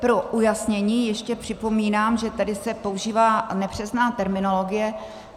Pro ujasnění ještě připomínám, že tady se používá nepřesná terminologie.